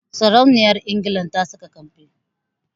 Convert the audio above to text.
Sarauniyar Ingila ta saka kambi